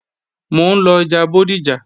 Mò ń lọ ọjà Bódìjà